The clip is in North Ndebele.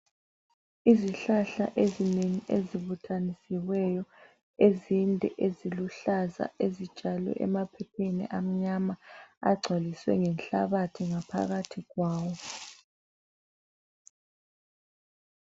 Izihlahla ezinengi ezibuthanisiweyo ezinde eziluhlaza ezitshalwe emaphepheni amnyama agcwaliswe ngenhlabathi ngaphakathi kwawo.